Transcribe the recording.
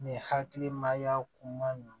Ni hakilimaya kuma ninnu